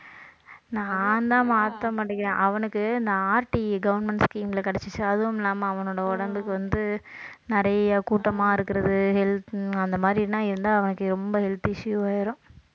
நான்தான் மாத்த மாட்டேன்கிறேன் அவனுக்கு இந்த RTEgovernment scheme ல கிடைச்சுச்சு அதுவும் இல்லாம அவனோட உடம்புக்கு வந்து நிறைய கூட்டமா இருக்கிறது health அந்த மாதிரி எல்லாம் இருந்தா அவனுக்கு ரொம்ப health issue ஆயிரும்